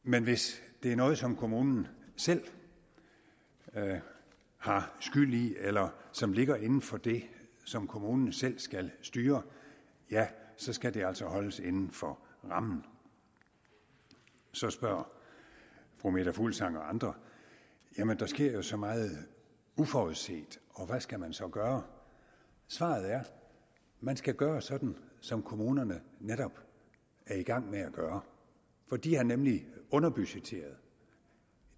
men hvis det er noget som kommunerne selv har skyld i eller som ligger inden for det som kommunerne selv skal styre ja så skal det altså holdes inden for rammen så spørger fru meta fuglsang og andre jamen der sker jo så meget uforudset og hvad skal man så gøre svaret er man skal gøre sådan som kommunerne netop er i gang med at gøre for de har nemlig underbudgetteret